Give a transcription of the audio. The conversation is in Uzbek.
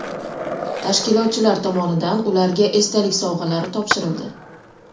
Tashkilotchilar tomonidan ularga esdalik sovg‘alari topshirildi.